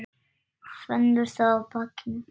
Finnur það á bakinu.